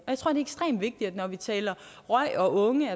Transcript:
jeg når vi taler røg og unge